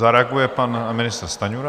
Zareaguje pan ministr Stanjura.